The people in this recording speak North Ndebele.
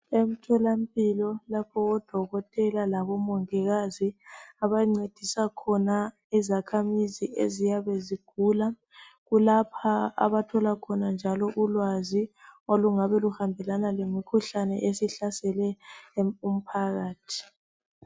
Emtholampilo lapho odokotela labomongikazi abancedisa khona izakhamizi eziyabezigula. Kulapha abatholakhona njalo ulwazi olungabe luhambelana lemikhuhlane esihlasele umphakathi.